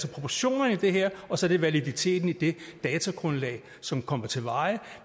proportionerne i det her og så er det validiteten i det datagrundlag som kommer til veje